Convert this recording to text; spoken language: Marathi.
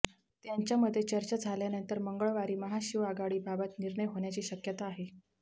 त्यांच्यामध्ये चर्चा झाल्यानंतर मंगळवारी महाशिवआघाडीबाबात निर्णय होण्याची शक्यता आहे